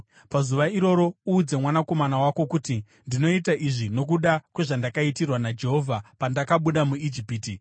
Pazuva iroro uudze mwanakomana wako kuti, ‘Ndinoita izvi nokuda kwezvandakaitirwa naJehovha pandakabuda muIjipiti.’